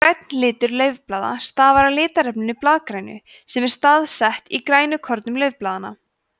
grænn litur laufblaða stafar af litarefninu blaðgrænu sem er staðsett í grænukornum laufblaðanna